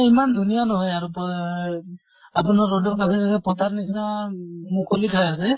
ইমান ধুনীয়া নহয় আৰু পয়ে আপোনাৰ road ৰ কাষে কাষে পথাৰ নিছিনা মুকলি ঠাই আছে